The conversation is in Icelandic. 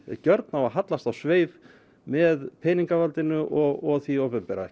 gjörn á að hallast á sveif með peningavaldinu og því opinbera